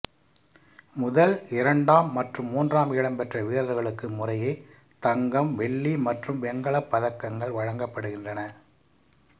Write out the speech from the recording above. முதல்இரண்டாம் மற்றும் மூன்றாம் இடம் பெற்ற வீரர்களுக்கு முறையே தங்கம்வெள்ளி மற்றும் வெங்கலப் பதக்கங்கள் வழங்கப்படுகின்றன